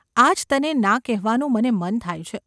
આજ તને ના કહેવાનું મને મન થાય છે.